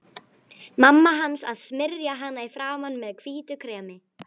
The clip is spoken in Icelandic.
Mamma hans að smyrja hana í framan með hvítu kremi.